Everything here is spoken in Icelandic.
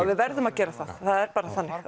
við verðum að gera það það er bara þannig